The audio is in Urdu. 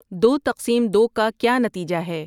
دو تقسیم دو کا کیا نتیجہ ہے